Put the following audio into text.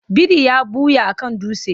Biri ya ɓuya a kan dutse.